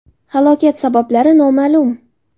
Halokat sabablari noma’lum.